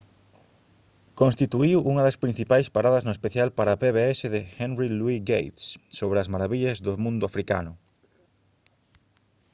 constituíu unha da principais paradas no especial para pbs de henry louis gates sobre as marabillas do mundo africano